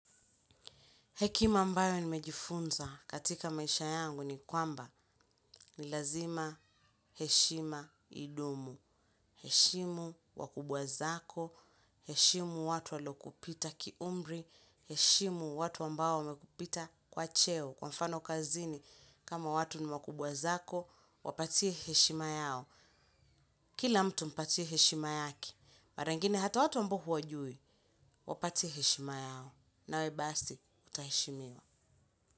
Hekima ambayo nimejifunza katika maisha yangu ni kwamba ni lazima heshima idumu. Heshimu wakubwa zako, heshimu watu walo kupita ki umri, heshimu watu ambao wamekupita kwa cheo. Kwa mfano kazini, kama watu ni wakubwa zako, wapatie heshima yao. Kila mtu mpatie heshima yake. Mara ingine hata watu ambao huwajui, wapatie heshima yao. Nawe basi, utaheshimiwa.